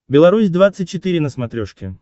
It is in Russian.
беларусь двадцать четыре на смотрешке